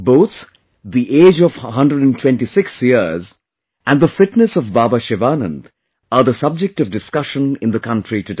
Both, the age of 126 years and the fitness of Baba Sivanand are the subject of discussion in the country today